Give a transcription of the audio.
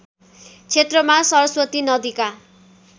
क्षेत्रमा सरस्वती नदीका